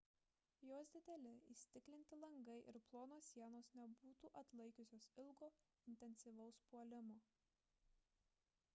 jos dideli įstiklinti langai ir plonos sienos nebūtų atlaikiusios ilgo intensyvaus puolimo